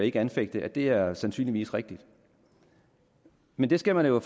ikke anfægte det er sandsynligvis rigtigt men det skal man jo